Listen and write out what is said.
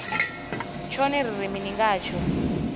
tshone ri ri mini ngatsho